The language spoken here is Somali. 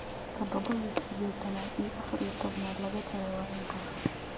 toddoba iyo siddeetan iyo afar iyo toban laga jaray waa inta